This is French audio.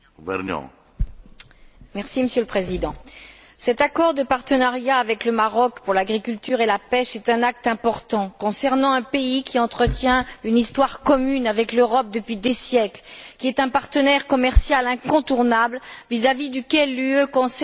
Monsieur le Président, cet accord de partenariat avec le Maroc pour l'agriculture et la pêche est un acte important concernant un pays qui entretient une histoire commune avec l'Europe depuis des siècles et qui est un partenaire commercial incontournable vis à vis duquel l'Union européenne conserve un net excédent commercial.